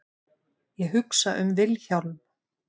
Ég hugsa um Vilhjálm.